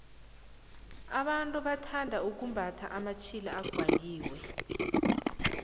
abantu bathanda ukumbatha amatjhila aqwaliwe